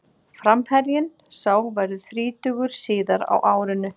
Framherjinn sá verður þrítugur síðar á árinu.